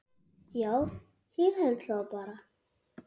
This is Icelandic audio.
Já, ég held það bara.